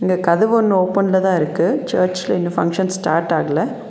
இந்த கதவு ஒன்னு ஓபன்லதா இருக்கு சர்ச்ல இன்னு ஃபங்க்ஷன் ஸ்டார்ட் ஆகல.